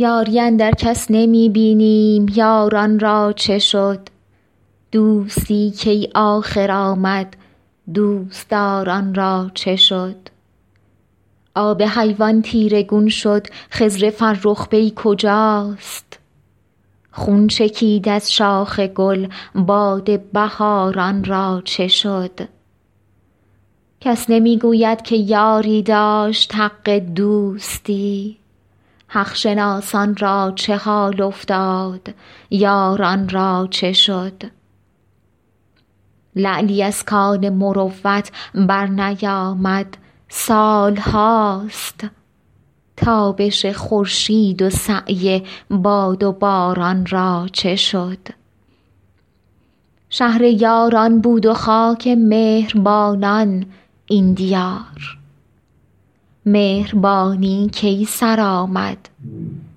یاری اندر کس نمی بینیم یاران را چه شد دوستی کی آخر آمد دوست دار ان را چه شد آب حیوان تیره گون شد خضر فرخ پی کجاست خون چکید از شاخ گل باد بهار ان را چه شد کس نمی گوید که یاری داشت حق دوستی حق شناسان را چه حال افتاد یاران را چه شد لعلی از کان مروت برنیامد سال هاست تابش خورشید و سعی باد و باران را چه شد شهر یاران بود و خاک مهر بانان این دیار مهربانی کی سر آمد